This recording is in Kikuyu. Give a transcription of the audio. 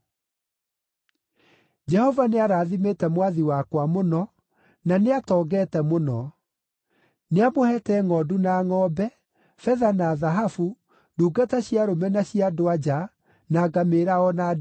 “Jehova nĩarathimĩte mwathi wakwa mũno, na nĩ atongete mũno. Nĩamũheete ngʼondu na ngʼombe, betha na thahabu, ndungata cia arũme na cia andũ-a-nja, na ngamĩĩra o na ndigiri.